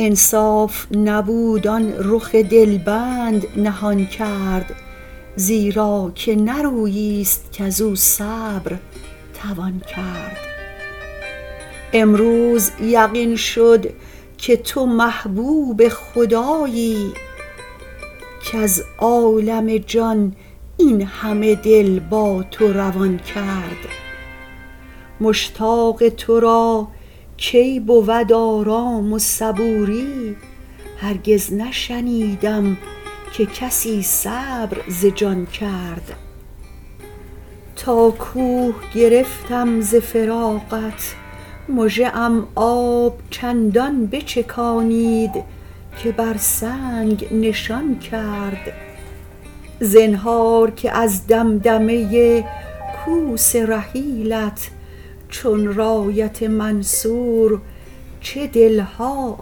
انصاف نبود آن رخ دل بند نهان کرد زیرا که نه رویی ست کز او صبر توان کرد امروز یقین شد که تو محبوب خدایی کز عالم جان این همه دل با تو روان کرد مشتاق تو را کی بود آرام و صبوری هرگز نشنیدم که کسی صبر ز جان کرد تا کوه گرفتم ز فراقت مژه ام آب چندان بچکانید که بر سنگ نشان کرد زنهار که از دمدمه کوس رحیلت چون رایت منصور چه دل ها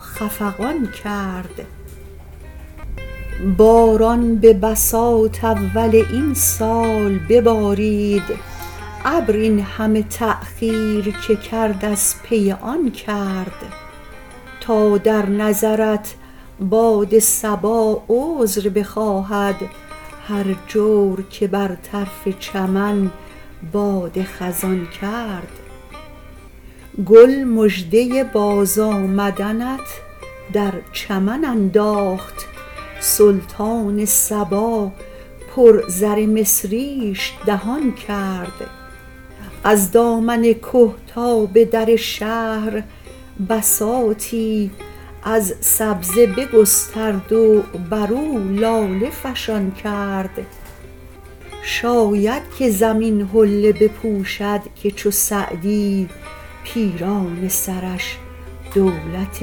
خفقان کرد باران به بساط اول این سال ببارید ابر این همه تأخیر که کرد از پی آن کرد تا در نظرت باد صبا عذر بخواهد هر جور که بر طرف چمن باد خزان کرد گل مژده بازآمدنت در چمن انداخت سلطان صبا پر زر مصریش دهان کرد از دامن که تا به در شهر بساطی از سبزه بگسترد و بر او لاله فشان کرد شاید که زمین حله بپوشد که چو سعدی پیرانه سرش دولت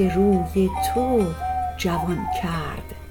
روی تو جوان کرد